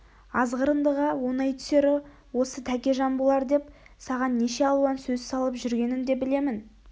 азғырындыға оңай түсері осы тәкежан болар деп саған неше алуан сөз салып жүргенін де білемін